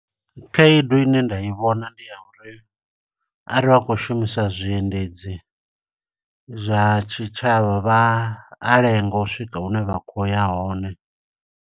Khaedu ine nda i vhona ndi ya uri, are vha khou shumisa zwiendedzi zwa tshitshavha vha a lenga u swika hune vha khou ya hone.